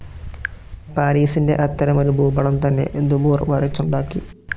പാരീസിൻ്റെ അത്തരമൊരു ഭൂപടം തന്നെ ദുബോർ വരച്ചുണ്ടാക്കി.